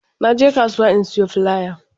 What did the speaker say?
Na je kasuwa in sayo filaya